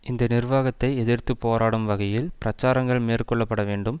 இந்த நிர்வாகத்தை எதிர்த்து போராடும் வகையில் பிரச்சாரங்கள் மேற்கொள்ள பட வேண்டும்